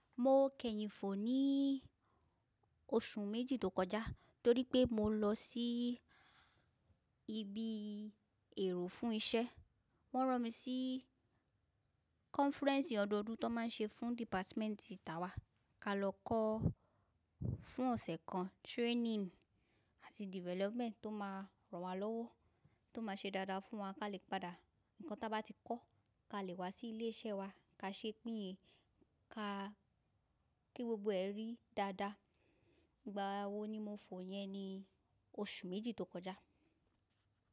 Mo kẹhìn fò ní oṣù méjì tó kọjá, torí pé mo lọ sí ibi èrò fún iṣẹ́. Wọ́n rán mi sí kọ́nfírẹ́ǹsì ọdọọdún tó máa ń ṣe fún dìpátímẹ́ǹtì tá a wà ka lọ kọ́ fún ọ̀sẹ̀ kan, training àti development tó máa ràn wá lọ́wọ́, tó máa ṣe dáadáa fún wa ká lè padà. Ǹkan tá a bá ti kọ́ ká lè wá sí ilé iṣẹ́ wa ká ṣe pín ka kí gbogbo ẹ rí dáadáa. Ìgbà wo ni mo fò yẹn ni oṣù méjì tó kọjá.